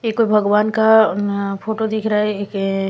एक भगवान का अह फोटो दिख रहा है एक--